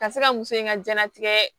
Ka se ka muso in ka diɲɛnatigɛ